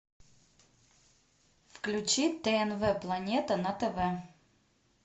включи тнв планета на тв